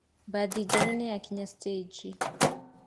Mbathi njerũ nĩyakinya thitĩji.